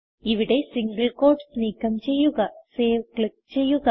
ഇവിടെ single quotes നീക്കം ചെയ്യുക സേവ് ക്ലിക്ക് ചെയ്യുക